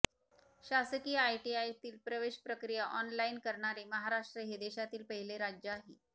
शासकीय आयटीआयतील प्रवेश प्रक्रिया ऑनलाईन करणारे महाराष्ट्र हे देशातील पहिले राज्य आहे